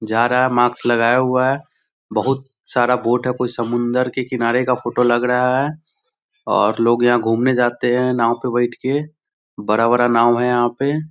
जा रहा है मास्क लगाया हुआ है। बहुत सारा बोट है कोई समुन्दर के किनारे का फोटो लग रहा है और लोग यहाँ घूमने जाते हैं नाव पे बैठ के। बड़ा-बड़ा नाव है यहाँ पे।